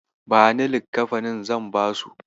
Bani likkafanin, zan basu.